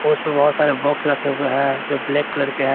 उसपे बहोत सारे बॉक्स रखे हुए है जो ब्लैक कलर के है।